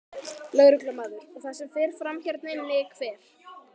Lögreglumaður: Og það sem fer fram hérna inni, hver?